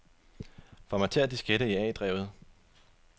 Formater diskette i A-drevet.